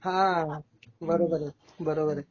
हां बरोबर आहे, बरोबर आहे.